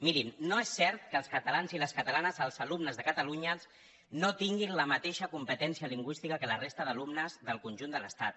mirin no és cert que els catalans i les catalanes els alumnes de catalunya no tinguin la mateixa competència lingüística que la resta d’alumnes del conjunt de l’estat